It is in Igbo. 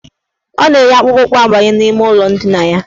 Ọ na-eyi akpụkpụụkwụ abanye n' ime ụlọ ndina ya.